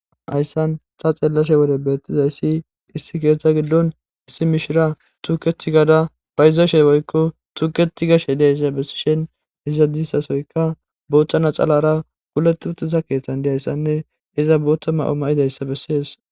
Haysan ta xeellashe wode beettizayssi issi keetha giddon issi mishira tuukethi gaada phayzaashey woykko tuuketi gashe diayssa bessishen izadissasoyka booththana xalara kuleti uttiza keeththan diyayssanne iza bootta ma7o ma7idayssa bessees